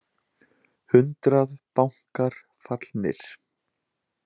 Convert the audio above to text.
Hundrað bankar fallnir